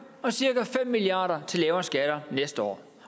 og cirka fem milliard kroner til lavere skatter næste år